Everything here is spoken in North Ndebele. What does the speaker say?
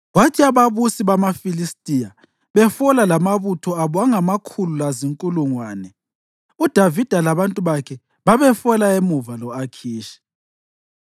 Kwathi ababusi bamaFilistiya befola lamabutho abo angamakhulu lazinkulungwane, uDavida labantu bakhe babefola emuva lo-Akhishi.